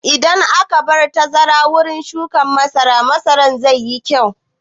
Idan an bar tazara wurin shuƙin masara, masaran zai yi kyau.